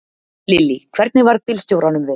Lillý: Hvernig varð bílstjóranum við?